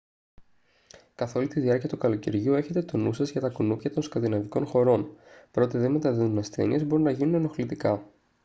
καθ' όλη τη διάρκεια του καλοκαιριού έχετε τον νου σας για τα κουνούπια των σκανδιναβικών χωρών παρότι δεν μεταδίδουν ασθένειες μπορούν να γίνουν ενοχλητικά